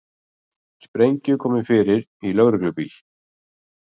Sprengju komið fyrir í lögreglubíl